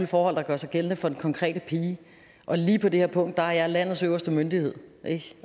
forhold der gør sig gældende for den konkrete pige og lige på det her punkt er jeg landets øverste myndighed